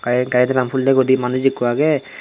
te gari drum hulle guri manuj ekku agey.